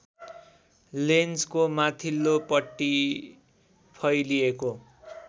लेन्सको माथिल्लोपट्टि फैलिएको